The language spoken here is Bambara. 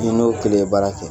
Ni n'o kelen ye baara kɛ